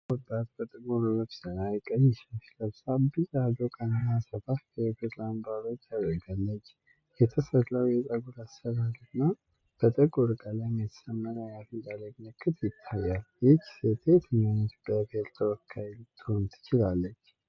ቆንጆዋ ወጣት በጥቁር ልብስ ላይ ቀይ ሻሽ ለብሳ ቢጫ ዶቃና ሰፋፊ የብር አምባሮች አድርጋለች። የተሠራው የፀጉር አሠራር እና በጥቁር ቀለም የተሰመረ የአፍንጫ ላይ ምልክት ይታያል። ይህች ሴት የየትኛው የኢትዮጵያ ብሔር ተወካይ ልትሆን ትችላለች?